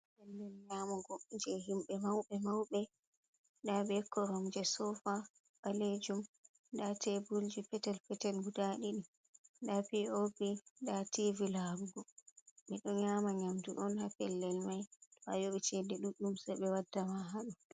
Babal nyamugo je himbe mauɓe maube. Ɗa'abe koromje sofa balejum. da teeburji petel petel guda ɗidi da P.O.P da tivi larugo. Bedo nyama nyamdu on ha pellel mai to a yobi cede duɗɗum se be wadda ma haaɗo.